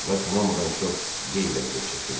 Lakin hamıdan çox Dey vəziyyət çəkirdi.